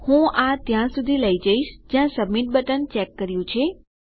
હું આ ત્યાં સુધી લઇ જઈશ જ્યાં સબમીટ બટન ચેક કર્યું છે